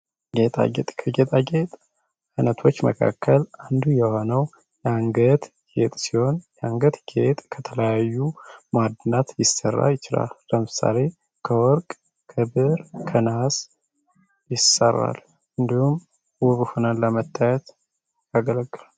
ጌጣጌጥ ከጌጣጌጥ አይነቶች ውስጥ አንዱ የሆነው የአንገት ጌጥ ሲሆን የአንገት ጌጥ ከለተለያዩ ማዕድናት ሊሰራ ይችላል። ለምሳሌ ከወርቅ ፣ከብር ፣ከነሀስ ይሰራል። እነዲሁም ውብ ሁነን ለመታየት ያገለግላል።